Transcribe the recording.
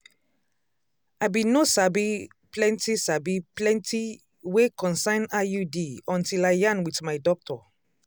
i bin no sabi plenti sabi plenti wey concern iud until i yarn wit my doctor